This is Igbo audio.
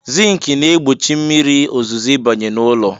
Zink na-egbochi mmiri ozuzo ịbanye n'ụlọ.